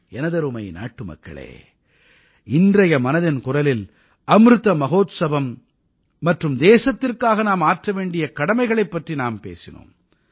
எனதருமை நாட்டுமக்களே இன்றைய மனதின் குரலில் அமிர்த மகோத்சம் மற்றும் தேசத்திற்காக நாம் ஆற்ற வேண்டிய கடமைகளைப் பற்றி நாம் பேசினோம்